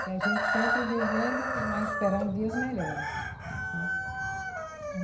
Que a gente sempre vivendo, mas esperando dias melhores, né.